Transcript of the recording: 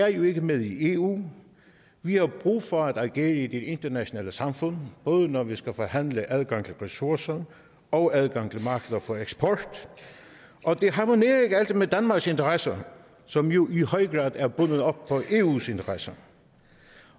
er jo ikke med i eu vi har brug for at agere i det internationale samfund både når vi skal forhandle adgang til ressourcer og adgang til markeder for eksport og det harmonerer ikke altid med danmarks interesser som jo i høj grad er bundet op på eus interesser